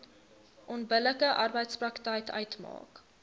onbillike arbeidspraktyk uitmaak